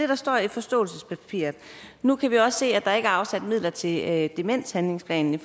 der står i forståelsespapiret nu kan vi også se at der ikke er afsat midler til en fortsættelse af demenshandlingsplanen